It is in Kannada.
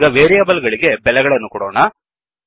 ಈಗ ವೇರಿಯೇಬಲ್ ಗಳಿಗೆ ಬೆಲೆಗಳನ್ನು ಕೊಡೋಣ